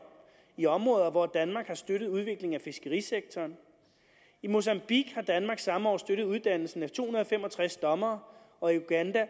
i områder hvor danmark har støttet udvikling af fiskerisektoren i mozambique har danmark samme år støttet uddannelsen af to hundrede og fem og tres dommere og i uganda